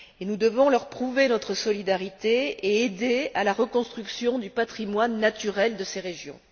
Nous devons leur prouver notre solidarité et aider à la reconstruction du patrimoine naturel de ces régions.